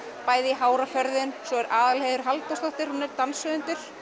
bæði hár og förðun svo er Aðalheiður Halldórsdóttir danshöfundur